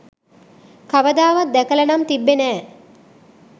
කවදාවත් දැකලා නම් තිබ්බේ නෑ.